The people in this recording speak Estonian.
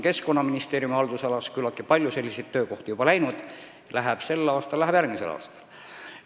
Keskkonnaministeeriumi haldusalas on küllaltki paljude töökohtadega nii läinud, läheb ka sel aastal ja järgmisel aastal.